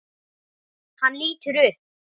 Hann lítur upp.